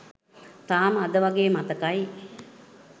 තාම අද වගේ මතකයි.